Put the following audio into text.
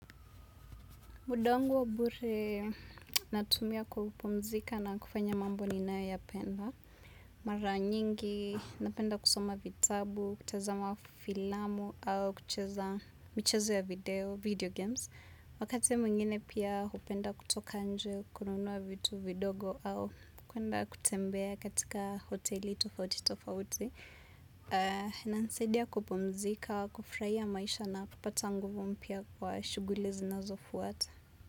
Muda wangu wa bure natumia kupumzika na kufanya mambo ninayoyapenda. Mara nyingi, napenda kusoma vitabu, kutazama filamu au kucheza michezo ya video video games. Wakati mwngine pia hupenda kutoka nje, kununua vitu vidogo au kwenda kutembea katika hoteli tofauti tofauti. Inanisaidia kupumzika, kufurahia maisha na kupata nguvu mpya kwa shughuli zinazofuata.